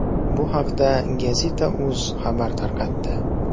Bu haqda gazeta.uz xabar tarqatdi.